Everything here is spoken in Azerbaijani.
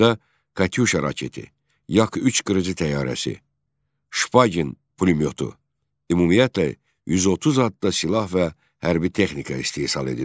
Bakıda Katyuşa raketi, Yak 3 qırıcı təyyarəsi, Şpagin pulemyotu, ümumiyyətlə, 130 adda silah və hərbi texnika istehsal edilirdi.